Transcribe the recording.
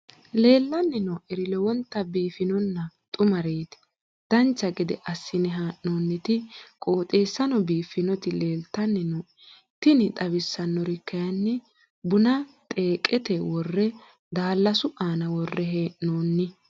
leellanni nooeri lowonta biiffinonna xumareeti dancha gede assine haa'noonniti qooxeessano biiffinoti leeltanni nooe tini xawissannori kayi buna xeeqete worre daallasu aana worre heee'noonni